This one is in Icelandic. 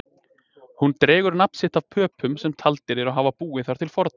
Hún dregur nafn sitt af Pöpum sem taldir eru hafa búið þar til forna.